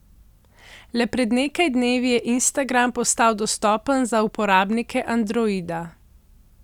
Le pred nekaj dnevi je Instagram postal dostopen za uporabnike Androida.